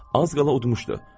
Az qala uduzmuşdu.